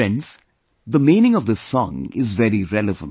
Friends, the meaning of this song is very relevant